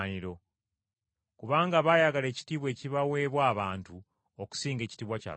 Kubanga baayagala ekitiibwa ekibaweebwa abantu okusinga ekitiibwa kya Katonda.